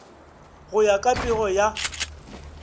go ya ka pego ya